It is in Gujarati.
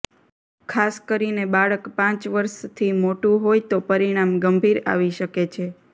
ખાસ કરીને બાળક પાંચ વર્ષથી મોટું હોય તો પરિણામ ગંભીર આવી શકે છે